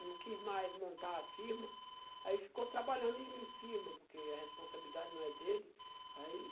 não quis mais montar a firma, aí ficou trabalhando em firma, porque a responsabilidade não é dele. Aí